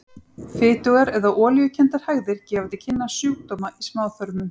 Fitugar eða olíukenndar hægðir gefa til kynna sjúkdóma í smáþörmum.